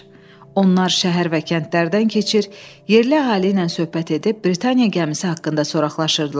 Onlar şəhər və kəndlərdən keçir, yerli əhali ilə söhbət edib Britaniya gəmisi haqqında soraqlaşırdılar.